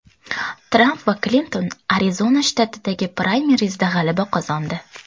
Tramp va Klinton Arizona shtatidagi praymerizda g‘alaba qozondi.